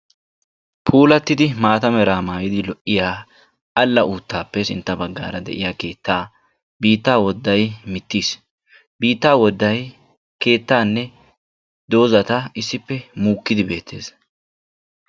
puulatidi maata meraa maayidi de'iya ala utaappe sintta bagaara de'iya keettaa biitta woddday muukkiodi beetees.